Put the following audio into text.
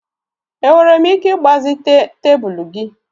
Enwere m ike ịgbazite'm tebụl gị?